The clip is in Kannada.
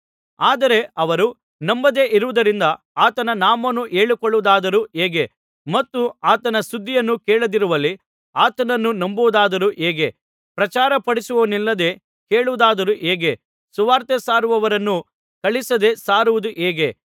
ಆದರೆ ಅವರು ನಂಬದೆ ಇರುವುದರಿಂದ ಆತನ ನಾಮವನ್ನು ಹೇಳಿಕೊಳ್ಳುವುದಾದರೂ ಹೇಗೆ ಮತ್ತು ಆತನ ಸುದ್ದಿಯನ್ನು ಕೇಳದಿರುವಲ್ಲಿ ಆತನನ್ನು ನಂಬುವುದಾದರೂ ಹೇಗೆ ಪ್ರಚಾರಪಡಿಸುವವನಿಲ್ಲದೆ ಕೇಳುವುದಾದರೂ ಹೇಗೆ ಸುವಾರ್ತೆಸಾರುವವರನ್ನು ಕಳುಹಿಸದೆ ಸಾರುವುದು ಹೇಗೆ